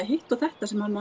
hitt og þetta sem